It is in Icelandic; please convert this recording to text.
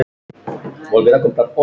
Það kom aðeins á mömmu.